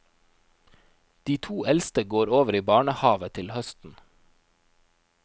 De to eldste går over i barnehave til høsten.